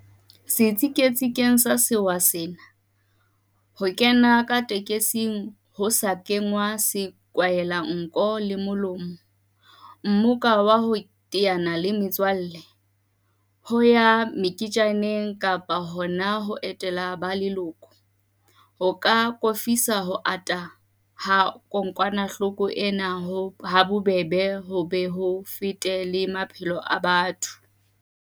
Setsiketsing sa sewa sena, ho kena ka tekesing ho sa kenngwa sekwahelanko le molomo, mmoka wa ho teana le metswalle, ho ya meketjaneng kapa hona ho etela ba leloko, ho ka akofisa ho ata ha kokwanahloko ena habobebe ho be ho fete le maphelo a batho.